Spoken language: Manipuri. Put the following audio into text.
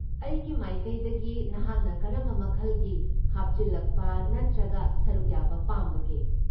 ꯑꯩꯒꯤ ꯃꯥꯏꯀꯩꯗꯒꯤ ꯅꯍꯥꯛꯅ ꯀꯔꯝꯕ ꯃꯈꯜꯒꯤ ꯍꯥꯞꯆꯤꯜꯂꯛꯄ ꯅꯠꯇ꯭ꯔꯒ ꯁꯔꯨꯛ ꯌꯥꯕ ꯄꯥꯝꯕꯒꯦ?